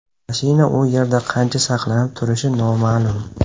Mashina u yerda qancha saqlanib turishi noma’lum.